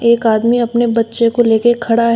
एक आदमी अपने बच्चे को लेके खड़ा है।